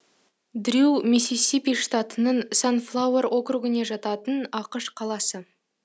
дрю миссисипи штатының санфлауэр округіне жататын ақш қаласы